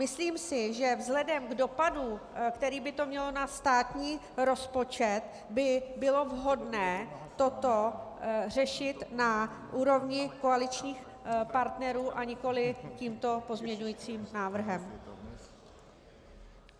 Myslím si, že vzhledem k dopadu, který by to mělo na státní rozpočet, by bylo vhodné toto řešit na úrovni koaličních partnerů, a nikoli tímto pozměňovacím návrhem.